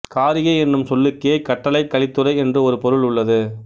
காரிகை என்னும் சொல்லுக்கே கட்டளைக் கலித்துறை என்று ஒரு பொருள் உள்ளது